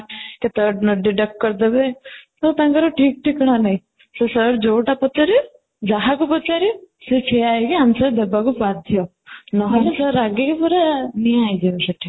କେତେବେଳେ note deduct କରିଦେବେ ତ ତାଙ୍କର ଠିକ ଠିକଣା ନାହିଁ ତ ସେ sir ଯୋଉଟା ପଚାରିବେ ଯାହାକୁ ପଚାରିବେ ସେ ଠିଆ ହେଇକି answer ଦେବାକୁ ବାଧ୍ୟ ନହଲେ sir ରାଗିକି ପୁରା ନିଆଁ ହେଇଯିବେ ସେଠି